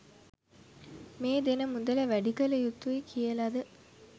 මේ දෙන මුදල වැඩි කළ යුතුයි කියලද?